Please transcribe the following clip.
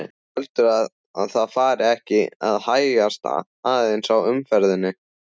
Heldurðu að það fari ekki að hægjast aðeins á umferðinni?